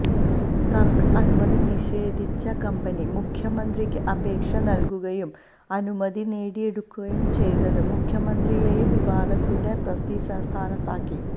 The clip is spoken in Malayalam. സര്ക്കാര് അനുമതി നിഷേധിച്ച കമ്പനി മുഖ്യമന്ത്രിക്ക് അപേക്ഷ നല്കുകയും അനുമതി നേടിയെടുക്കകയും ചെയ്തത് മുഖ്യമന്ത്രിയെയും വിവാദത്തിന്റെ പ്രതിസ്ഥാനത്താക്കി